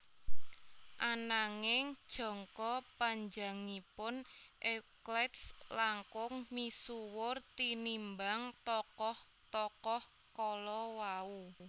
Ananging jangka panjangipun Euclides langkung misuwur tinimbang tokoh tokoh kalawau